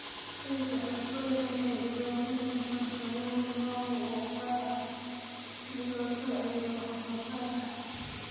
Ciidda cusbada leh waxay u baahan yihiin farsamooyin maamul oo gaar ah si loo soo celiyo wax soo saarka.